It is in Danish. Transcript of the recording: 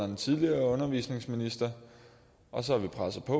den tidligere undervisningsminister og så har vi presset på